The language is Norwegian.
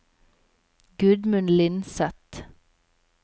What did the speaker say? Gudmund Lindseth